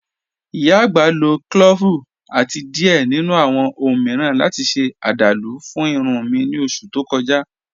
Ìyá agbá ló clọ́ọ́vu àti diẹ̀ nínu awọn ọ̀hun miiran láti ṣe àdálú fún ìrùn mi ní oṣù tó kọ̀ja.